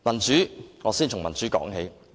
讓我先從民主說起。